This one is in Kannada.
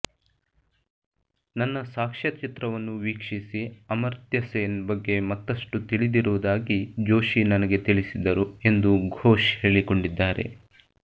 ನನ್ನ ಸಾಕ್ಷ್ಯಚಿತ್ರವನ್ನು ವೀಕ್ಷಿಸಿ ಅಮಾರ್ತ್ಯ ಸೇನ್ ಬಗ್ಗೆ ಮತ್ತಷ್ಟು ತಿಳಿದಿರುವುದಾಗಿ ಜೋಶಿ ನನಗೆ ತಿಳಿಸಿದರು ಎಂದು ಘೋಶ್ ಹೇಳಿಕೊಂಡಿದ್ದಾರೆ